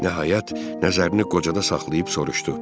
Nəhayət, nəzərini qocada saxlayıb soruşdu.